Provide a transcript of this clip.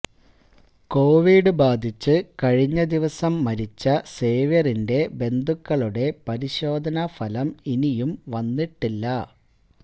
Covid ബാധിച്ച് കഴിഞ്ഞ ദിവസം മരിച്ച സേവ്യറിന്റെ ബന്ധുക്കളുടെ പരിശോധനാഫലം ഇനിയും വന്നിട്ടില്ല